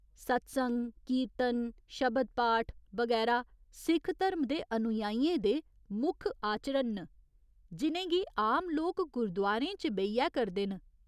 संत्सग, कीर्तन, शब्द पाठ, बगैरा सिख धरम दे अनुयायियें दे मुक्ख आचरण न, जि'नेंगी आम लोक गुरुद्वारें च बेहियै करदे न।